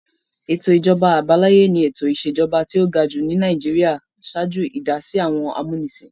Ètò ìjọba àbáláyé ni ètò ìṣèjọba tí ó ga jù ní Nàìjíríà ṣáájú ìdásí àwọn amúnisìn.